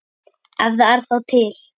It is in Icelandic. Ef það er þá til.